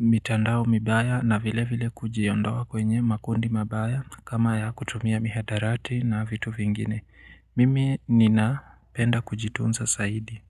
mitandao mibaya na vile vile kujiondoa kwenye makundi mabaya kama ya kutumia mihadarati na vitu vingine. Mimi nina penda kujitunza zaidi.